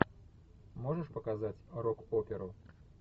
можешь показать рок оперу